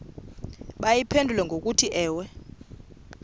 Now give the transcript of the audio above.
bayiphendule ngokuthi ewe